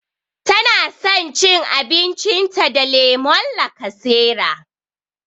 Tana san cin abincin ta da lemon lakasera